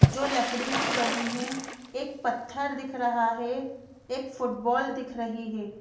जो लकड़ी की बनी है एक पत्थर दिख रहा है एक फुटबॉल दिख रही है।